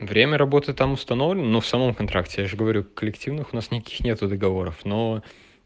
время работы там установлено но в самом контракте я же говорю коллективных у нас никаких нет договоров но